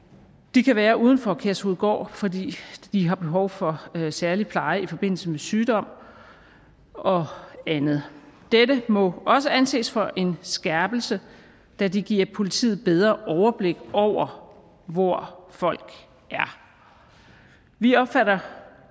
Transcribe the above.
de kan være uden for kærshovedgård fordi de har behov for særlig pleje i forbindelse med sygdom og andet dette må også anses for en skærpelse da det giver politiet bedre overblik over hvor folk er vi opfatter